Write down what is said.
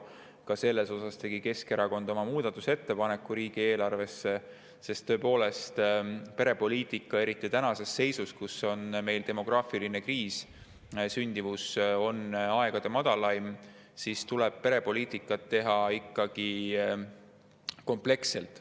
Ka selle kohta tegi Keskerakond oma muudatusettepaneku riigieelarvesse, sest tõepoolest, eriti tänases seisus, kus meil on demograafiline kriis, sündimus on aegade madalaim, tuleb perepoliitikat teha ikkagi kompleksselt.